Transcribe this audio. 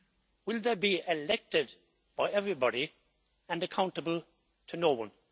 Will they be elected by everybody and accountable to no one?